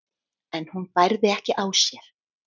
en hún bærði ekki á sér.